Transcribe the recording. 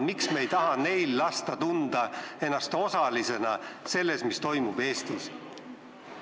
Miks me ei taha lasta neil tunda ennast osalisena selles, mis toimub Eestis?